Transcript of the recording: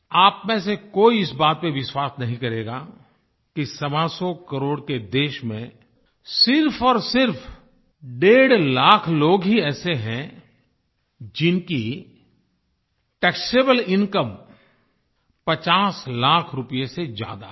आप में से कोई इस बात पर विश्वास नहीं करेगा कि सवासौ करोड़ के देश में सिर्फ और सिर्फ डेढ़ लाख लोग ही ऐसे हैं जिनकी टैक्सेबल इनकम पचास लाख रूपये से ज्यादा है